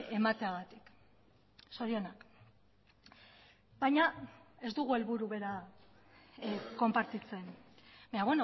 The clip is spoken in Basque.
emateagatik zorionak baina ez dugu helburu bera konpartitzen baina